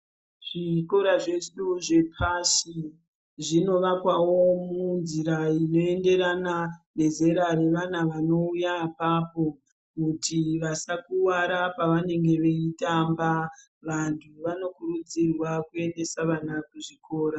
Zvikora zvezvino zvepasi zvinovakwawo munzira inoenderana nezera revana vanouya apapo kuti vasakuwara pavanenge veitamba vantu vanokurudzirwa kuendesa vana kuzvikora.